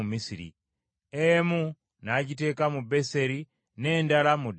Emu n’agiteeka mu Beseri n’endala mu Ddaani.